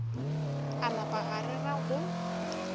a napa a rera go